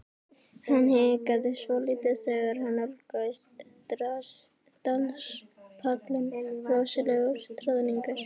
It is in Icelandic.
Hann hikaði svolítið þegar hann nálgaðist danspallinn rosalegur troðningur.